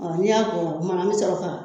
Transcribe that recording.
n'i y'a kumana an bi sɔrɔ ka